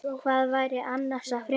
Hvað væri annars að frétta?